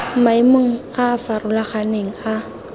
maemong a a farologaneng a